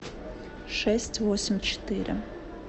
шесть восемь четыре